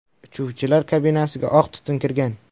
Uchuvchilar kabinasiga oq tutun kirgan.